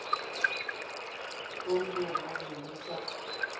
kompo bo be bo sa